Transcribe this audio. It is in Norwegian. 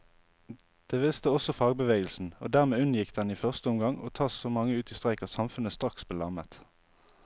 Det visste også fagbevegelsen, og dermed unngikk den i første omgang å ta så mange ut i streik at samfunnet straks ble lammet.